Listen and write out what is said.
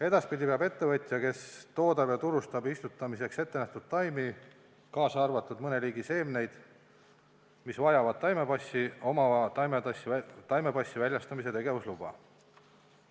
Edaspidi peab ettevõtja, kes toodab ja turustab istutamiseks ette nähtud taimi, kaasa arvatud mõne liigi seemneid, mis vajavad taimepassi, omama taimepassi väljastamise tegevusluba.